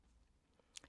DR2